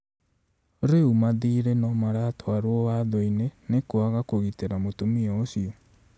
Rĩu mathirĩ nomaratwarwo watho-inĩ nĩ kwaga kũgitĩra mũtũmĩa ũcĩo.